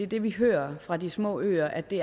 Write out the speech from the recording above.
det vi hører fra de små øer er at det